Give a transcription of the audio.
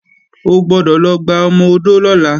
O gbọ́dọ̀ lọ gba ọmọ-odó lọ́la!